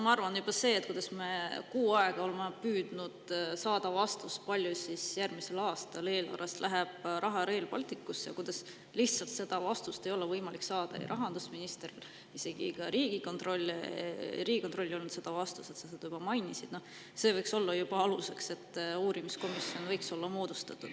Ma arvan, et juba see, kuidas me kuu aega oleme püüdnud saada vastust, kui palju järgmisel aastal läheb eelarvest raha Rail Balticusse, aga seda vastust lihtsalt ei ole võimalik saada rahandusministrilt, isegi Riigikontrollil ei olnud seda vastust, mida sa juba mainisid, võiks olla aluseks, et uurimiskomisjoni võiks moodustada.